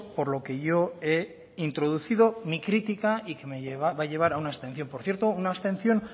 por lo que yo he introducido mi crítica y que me va a llevar a una abstención por cierto una abstención